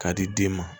K'a di den ma